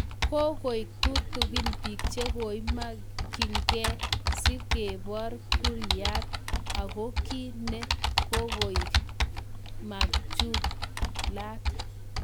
Kokoek tutugin piik chekoimang Kee si kebor kuayat ago kiy ne kokoek machulat.